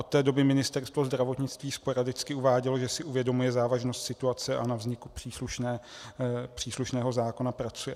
Od té doby Ministerstvo zdravotnictví sporadicky uvádělo, že si uvědomuje závažnost situace a na vzniku příslušného zákona pracuje.